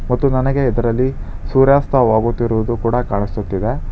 ಮತ್ತು ನನಗೆ ಇದರಲ್ಲಿ ಸೂರ್ಯಾಸ್ತವಾಗುತ್ತಿರುವುದು ಕೂಡ ಕಾಣಿಸುತ್ತಿದೆ.